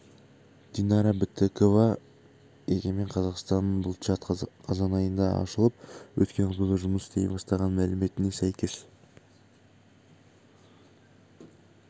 динара бітікова егемен қазақстан бұл чат қазан айында ашылып өткен аптада жұмыс істей бастаған мәліметіне сәйкес